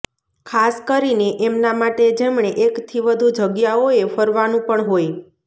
ખાસ કરીને એમના માટે જેમણે એકથી વધુ જગ્યાઓએ ફરવાનું પણ હોય